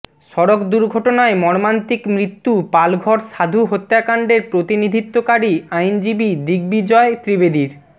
সড়ক দুর্ঘটনায় মর্মান্তিক মৃত্যু পালঘর সাধু হত্যাকাণ্ডের প্রতিনিধিত্বকারী আইনজীবি দিগ্বিজয় ত্রিবেদীর